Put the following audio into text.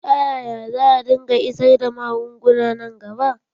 Ta yaya za dinga isar da magunguna nan gaba?